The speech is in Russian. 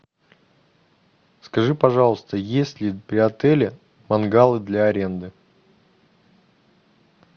скажи пожалуйста есть ли при отеле мангалы для аренды